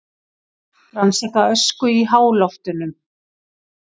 Rannsaka ösku í háloftunum